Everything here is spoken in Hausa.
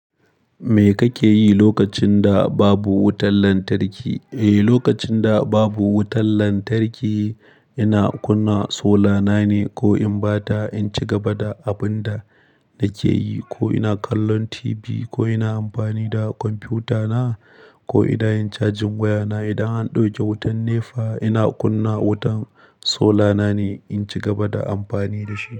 Me kake yi lokacin da babu wutar lantarki? Eh, lokacin da babu wutar lantarki, ina kunna solana ne ko in ba ta, in ci gaba da abun da nake yi ko ina kallon TV ko ina amfani da kwamfutana ko idan in cajin wayana. Idan an ɗauke wutan ne fa ina kunna wutan solana ne in ci gaba da amfani da shi.